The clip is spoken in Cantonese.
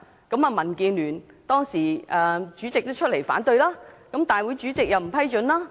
同時，民建聯主席提出反對，立法會主席也不批准。